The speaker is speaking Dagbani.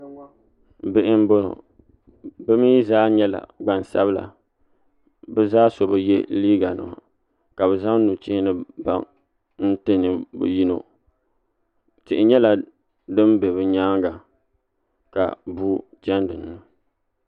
bihi m-bɔŋɔ bɛ mi zaa nyɛla gbansabila bɛ zaa so bi ye liiganima ka bɛ zaŋ nuchee ni baŋa n-ti bɛ yino tihi nyɛla din be bɛ nyaanga ka bua chani din